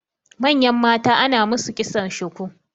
manyan mata ana musu kitson shuku